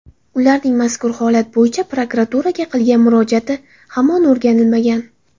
Ularning mazkur holat bo‘yicha prokuraturaga qilgan murojaati hamon o‘rganilmagan.